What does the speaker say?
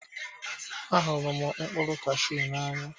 Ahụrụ m mkpụrụ cashew n'anya.